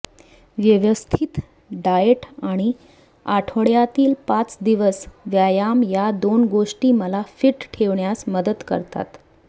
व्यवस्थित डाएट आणि आठवड्यातील पाच दिवस व्यायाम या दोन गोष्टी मला फिट ठेवण्यास मदत करतात